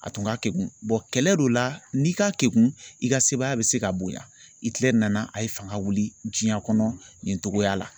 A tun ka kegun kɛlɛ don la n'i ka kɛgun i ka sebagaya bɛ se ka bonyan. Ikilɛri nana a ye fanga wuli diɲɛn kɔnɔ nin togoya la.